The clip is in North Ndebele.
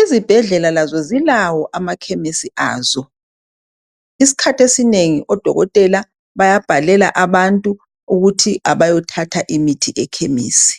Izibhedlela lazo zilawo amakhemisi azo. Isikhathi esinengi odokotela bayabhalela abantu ukuthi abayothatha imithi ekhemisi.